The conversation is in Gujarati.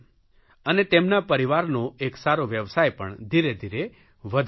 અને તેમના પરિવારનો એક સારો વ્યવસાય પણ ધીરેધીરે વધવા લાગ્યો